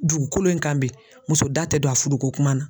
Dugukolo in kan bi muso da tɛ don a fudu ko kuma na.